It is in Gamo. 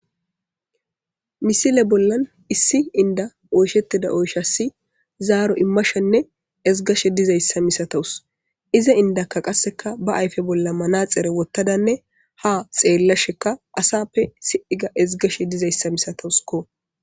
Misile bollan issi inda oyshettida oyshasi zaaro immashenne ezgashe dizayssa misatawus iza indakka qasseka ba ayfe bolla manaxere wottadanne ha xeellasheka asappe si,iga ezgashe dizayssa misatawusko.